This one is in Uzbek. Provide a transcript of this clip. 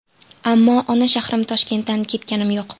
Ammo ona shahrim Toshkentdan ketganim yo‘q.